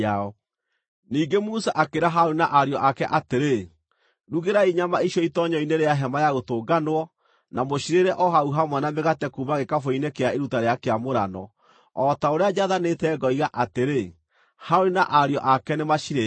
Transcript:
Ningĩ Musa akĩĩra Harũni na ariũ ake atĩrĩ, “Rugĩrai nyama icio itoonyero-inĩ rĩa Hema-ya-Gũtũnganwo na mũcirĩĩre o hau hamwe na mĩgate kuuma gĩkabũ-inĩ kĩa iruta rĩa kĩamũrano, o ta ũrĩa njathanĩte ngoiga atĩrĩ, ‘Harũni na ariũ ake nĩmacirĩĩage.’